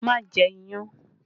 Má jẹ iyán!